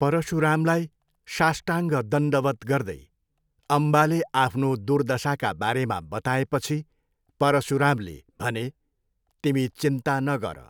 परशुरामलाई शाष्टाङ्ग दण्डवत् गर्दै अम्बाले आफ्नो दुर्दशाका बारेमा बताएपछि परशुरामले भने, तिमी चिन्ता नगर।